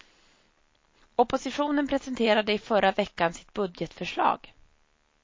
Oppositionen presenterade i förra veckan sitt budgetförslag.